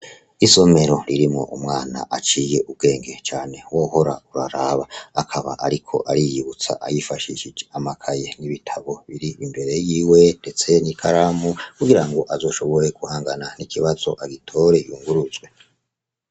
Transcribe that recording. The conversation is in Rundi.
Isomero ririmw' umwan' aciy'ubwenge cane wohor' uraraba, akab' arik' ariyibutsa yifashij' amakaye, ibitabo bir' imbere yiwe ndese n'ikaramu kugirang' azoshobore guhangana n' ikibaz' agitore yunguruzwe.